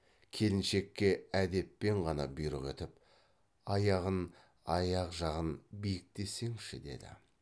келіншекке әдеппен ғана бұйрық етіп аяғын аяқ жағын биіктесеңші деді